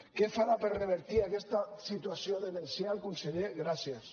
què farà per revertir aquesta situació demencial conseller gràcies